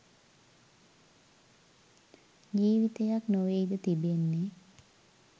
ජීවිතයක් නොවෙයිද තිබෙන්නේ?